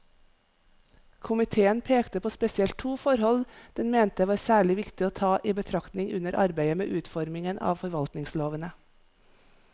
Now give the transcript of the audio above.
Komiteen pekte på spesielt to forhold den mente var særlig viktig å ta i betraktning under arbeidet med utformingen av forvaltningslovene.